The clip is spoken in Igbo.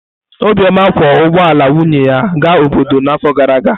Obioma kwọ ụgbọ ala nwunye ya gaa obodo n’afọ gara aga.